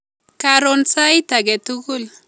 Keron sait age tugul